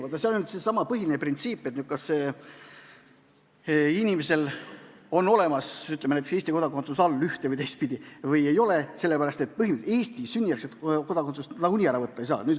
Vaadake, seal on nüüd seesama põhiline printsiip, et kas inimesel on, ütleme, näiteks Eesti kodakondsus saadud ühte- või teistpidi või ei ole, sellepärast et Eesti sünnijärgset kodakondsust põhimõtteliselt nagunii ära võtta ei saa.